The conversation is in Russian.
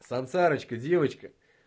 сансарочка девочка